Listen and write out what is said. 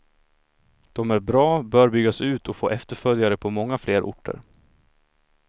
De är bra, bör byggas ut och få efterföljare på många fler orter.